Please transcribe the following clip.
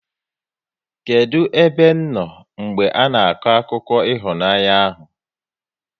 Kedụ ebe m nọ mgbe ana akọ akụkọ ịhụnanya ahụ?